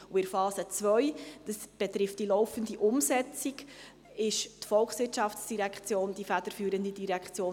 In der Phase II – sie betrifft die laufende Umsetzung – ist die VOL die federführende Direktion.